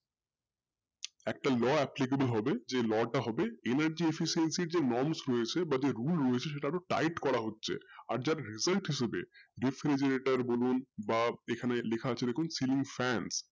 একটা law applicable হবে jlaw টা হবে energy efficiency এর যে norms যে rule রয়েছে tight রয়েছে সেটাকে result করা হচ্ছে আর যা refridgirator বলুন বা ওখানে লেখা আছে দেখুন celing fans